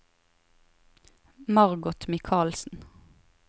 Margot Michaelsen